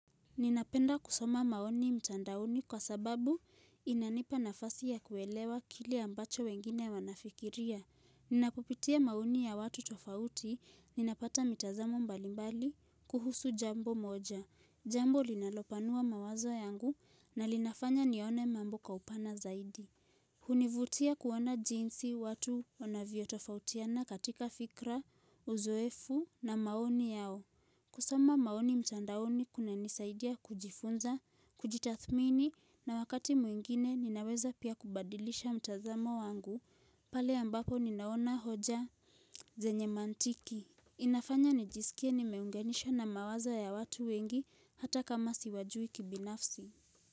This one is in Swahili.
Ninapenda kusoma maoni mtandaoni kwa sababu inanipa nafasi ya kuelewa kile ambacho wengine wanafikiria. Ninapopitia maoni ya watu tofauti, ninapata mitazamo mbalimbali kuhusu jambo moja. Jambo linalopanua mawazo yangu na linafanya nione mambo kwa upana zaidi. Hunivutia kuona jinsi watu wanavyo tofautiana katika fikra, uzoefu na maoni yao. Kusoma maoni mtandaoni kunanisaidia kujifunza, kujitathmini na wakati mwingine ninaweza pia kubadilisha mtazamo wangu pale ambapo ninaona hoja zenye mantiki. Inafanya nijisikia nimeunganisha na mawazo ya watu wengi hata kama siwajui kibinafsi.